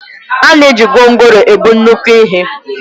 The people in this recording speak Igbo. A na-eji gwongworo ebu nnukwu ihe